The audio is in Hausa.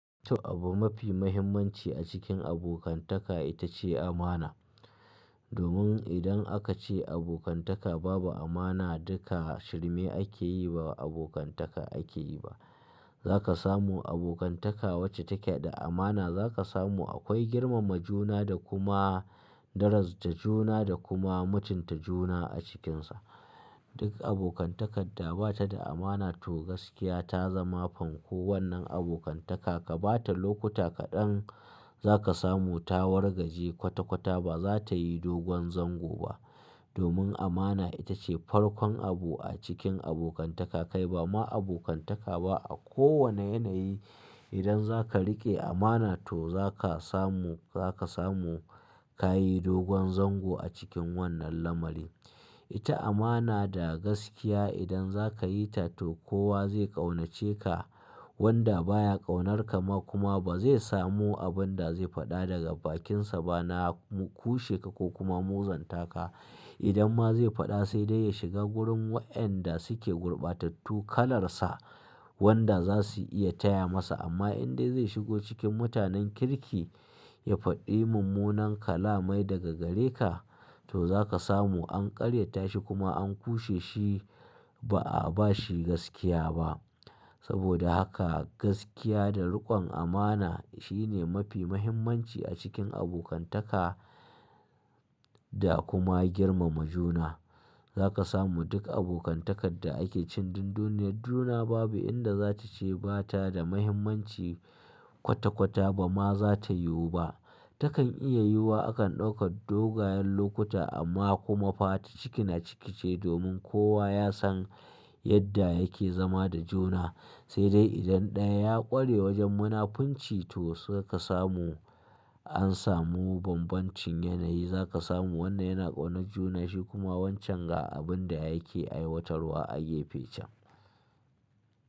To abu mafi mahimmanci a cikin abokantaka ita ce amana. Domin idan aka ce abokantaka babu amana duka shirme ake yi ba abokantaka ake yi ba. Za ka samu abokantaka wacce take da amana za ka samu akwai girmama juna da kuma darajanta juna da kuma mutunta juna a cikinsa. Duk abokantakar da ba ta da amana to gaskiya ta zama fanko wannan abokantaka ka bata lokuta kaɗan za ka samu ta wargaje kwata kwata ba za ta yi dogon zango ba. Domin amana ita ce farkon abu a cikin abokantaka kai ba ma abokantaka ba a kowane yanayi idan zaka riƙe amana to zaka samu zaka samu ka yi dogon zango a cikin wannan lamari. Ita amana da gaskiya idan za ka yi ta to kowa zai ƙaunace ka wanda baya ƙaunarka ma kuma ba zai samu abin da zai faɗa daga bakinsa ba na ko sheka ko kuma muzantaka. Idan ma zai faɗa sai dai ya shiga wurin waɗanda suke gurbatattu kalarsa wanda za su iya taya masa amma in dai zai shigo cikin mutanen kirki ya faɗi mummunan kalamai daga gare ka to za ka samu an karyata shi kuma an kushe shi ba a bashi gaskiya ba. Saboda haka gaskiya da riƙon amana shine mafi mahimmanci a cikin abokantaka da kuma girmama juna. Za ka samu duk abokantakar da ake cin dunduniyar juna babu inda za ta ce ba ta da mahimmanci kwata kwata ba ma za ta yiwu ba. Takan iya yiwuwa akan ɗaukar dogayen lokuta amma kuma fa ta ciki na ciki ce domin kowa ya san yadda yake zama da juna. Sai dai idan ɗaya ya ƙware wajen munafunci to suka samu an samu bambancin yanayi za ka samu wanda yana ƙaunar junan shi kuma wancan ga abin da yake aiwatarwa a gefe can.